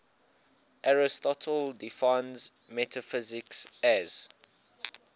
aristotle defines metaphysics as